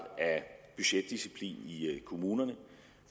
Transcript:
af budgetdisciplin i kommunerne